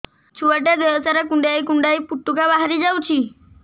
ଛୁଆ ଟା ଦେହ ସାରା କୁଣ୍ଡାଇ କୁଣ୍ଡାଇ ପୁଟୁକା ବାହାରି ଯାଉଛି